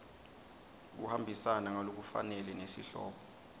kuhambisana ngalokufanele nesihloko